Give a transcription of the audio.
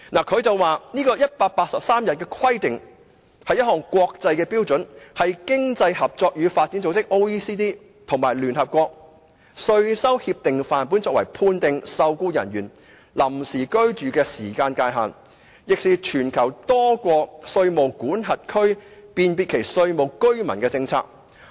它指出，這個 "183 天規定"，是一項國際標準，是經濟合作與發展組織及聯合國稅收協定範本，作為判定受僱人員臨時居住的時間界限，亦是全球多國稅務管轄區辨別其稅務居民的政策。